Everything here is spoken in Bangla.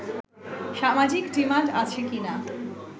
সামাজিক ডিমান্ড আছে কিনা